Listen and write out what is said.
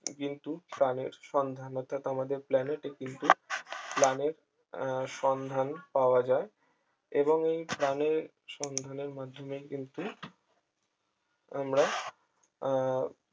কিন্তু প্রাণের সন্ধান অর্থাৎ আমাদের planet এ কিন্তু planet সন্ধান পাওয়া যায় এবং এই প্রাণের সন্ধানের মাধ্যমে কিন্তু আমরা